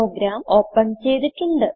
programme open ചെയ്തിട്ടുണ്ട്